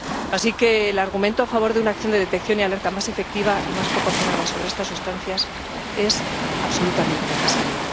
Así que el argumento a favor de una acción de detección y alerta más efectiva y más proporcionada sobre estas sustancias es absolutamente necesario.